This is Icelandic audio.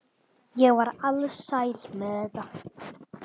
Ég var alsæl með þetta.